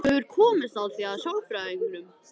Þú hefur komist að því hjá sálfræðingnum?